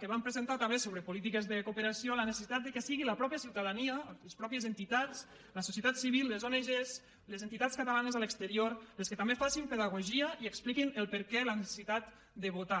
que vam presentar també sobre polítiques de cooperació la necessitat que siguin la mateixa ciutadania les mateixes entitats la societat civil les ong les entitats catalanes a l’exterior les que també facin pedagogia i expliquin el perquè de la necessitat de votar